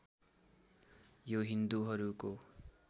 यो हिन्दूहरूको